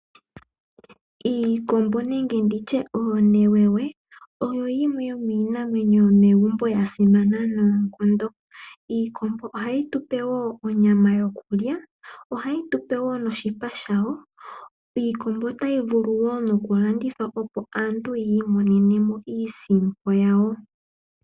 Oonewewe oyo yimwe yomiinamwenyo yomegumbo yasimana noonkondo. Iikombo ohayi tupe onyama yokulya, ohayi tupe woo oshipa shawo. Iikombo ohaayi vulu okulandithwa po opo aantu yi imonene mo iisimpo yawo.